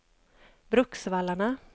Bruksvallarna